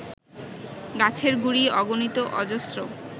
গাছের গুঁড়ি অগণিত অজস্র